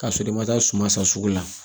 K'a sɔrɔ i ma taa suma san sugu la